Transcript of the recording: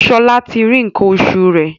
Shola tí rí nkan oṣù rẹ.